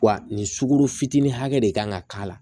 Wa nin sukaro fitinin hakɛ de kan ka k'a la